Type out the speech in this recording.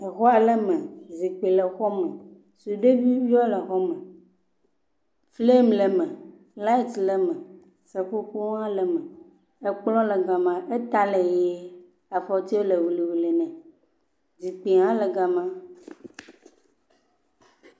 Exɔ ale me, zikpui le xɔ me, sudeviwo le xɔme, flam le me, light le me seƒoƒo hã le me ekplɔ le gama eta le ʋe afɔtiwo le ʋe ne zikpuiwo hã le gama.